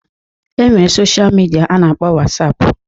E nwere sosha midia a na-akpọ Wasapụ